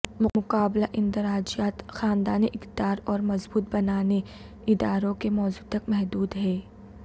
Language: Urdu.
مقابلہ اندراجات خاندانی اقدار اور مضبوط بنانے اداروں کے موضوع تک محدود ہے